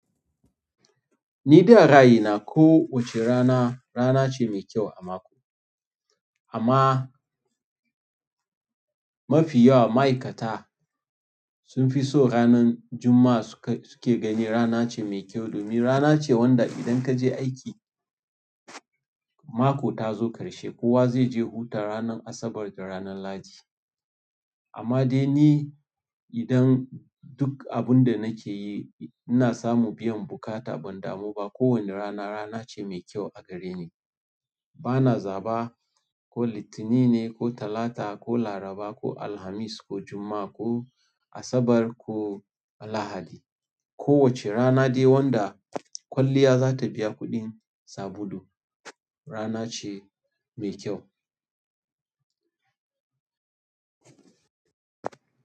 Ni da raayi na, ko wace rana rana ce mai kyau a mako. Amma mafi yauwa maikata sun fi so ranar Juma'a suke gani rana ce mai kyau domin rana ce wanda idan ka je aiki, mako ta zo ƙarshe. Kowa zai je huta ranar Asabar da ranan Lahadi. Amma dai ni idan duk abin da nake yi ina samu biyan buƙata ban damu ba. Ko wani rana rana ce mai kyau a gare ni. Bana zaɓa ko Litinin ne, ko Talata, ko Laraba, ko Alhamis, ko Juma'a, ko Asabar, ko Lahadi. Ko wace rana dai wanda kwalliya za ta biya kuɗin sabulu rana ce mai kyau.